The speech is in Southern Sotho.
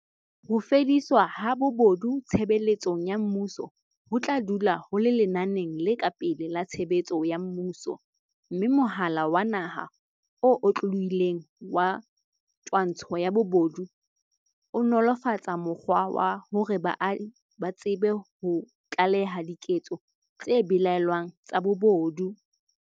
Ho fediswa ha bobo du tshebeletsong ya mmuso ho tla dula ho le lenaneng le ka pele la tshebetso ya mmuso, mme Mohala wa Naha o Otlolohileng wa Twantsho ya Bobodu o nolo -fatsa mokgwa wa hore baahi ba tsebe ho tlaleha diketso tse belaellwang tsa bobodu.